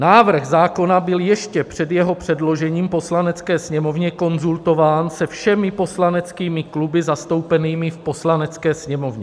Návrh zákona byl ještě před jeho předložením Poslanecké sněmovně konzultován se všemi poslaneckými kluby zastoupenými v Poslanecké sněmovně.